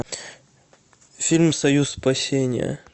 фильм союз спасения